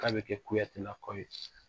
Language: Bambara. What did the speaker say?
K'a bɛ kɛ kuyatela kɔ ye.